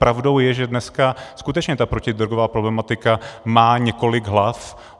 Pravdou je, že dneska skutečně ta protidrogová problematika má několik hlav.